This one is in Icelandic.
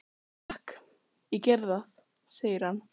Takk, ég geri það, segir hann.